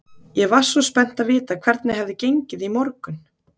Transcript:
Ég var svo spennt að vita hvernig hefði gengið í morgun.